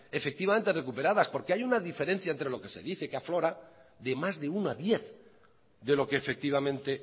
efectivamente recuperadas porque hay una diferencia entre lo que se dice que aflora de más de uno a diez de lo que efectivamente